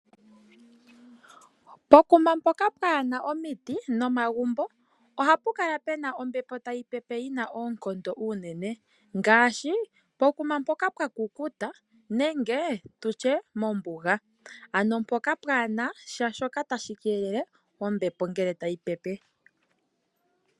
Pokuma mpoka mpwaana omiiti nomagumbo oha pu kala puna ombepo tayi pepe unene. Ngaashi pokuma mpoka pwaakukuta nenge tutye mombuga. Ano mpoka pwaa nasha shoka tashi keelele ombepo ngele tayi pepe.